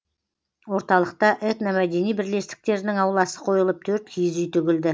орталықта этномәдени бірлестіктерінің ауласы қойылып төрт киіз үй тігілді